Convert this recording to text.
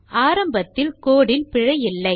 ஆரம்பத்திலேயே கோடு இல் பிழையில்லை